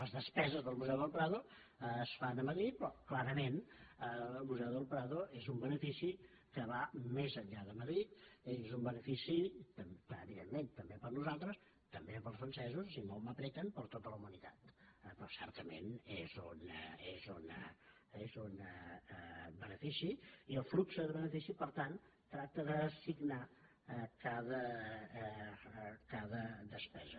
les des·peses del museu del prado es fan a madrid però cla·rament el museu del prado és un benefici que va més enllà de madrid és un benefici evidentment també per a nosaltres també per als francesos i si molt em collen per a tota la humanitat però certament és un benefici i el flux de benefici per tant tracta d’assignar cada despesa